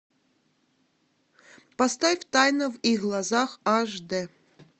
поставь тайна в их глазах аш дэ